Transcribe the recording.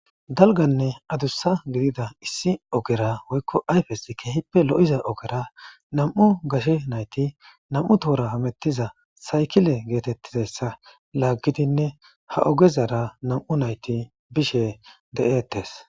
dalganne adussa gidida issi ogera woykko ayfes keehippe lo7iza ogera nam7u gashe nayti nam7u toora hamettiza saykile geetettizassa laaggidinne ha ogezara nam7u nayti bishe de7eettes